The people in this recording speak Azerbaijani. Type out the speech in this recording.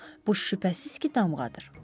Bu şübhəsiz ki, damğadır.